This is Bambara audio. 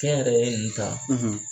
Kɛnyɛrɛye ninnu ta